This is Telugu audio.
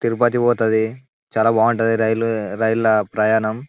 తిరుపతికి పోతది చాలా బాగుంటది రైళ్ల రైళ్ల ప్రయాణం.